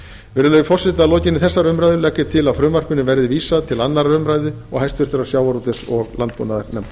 virðulegi forseti að lokinni þessari umræðu legg ég til að frumvarpinu verði vísað til annarrar umræðu og háttvirtur sjávarútvegs og landbúnaðarnefndar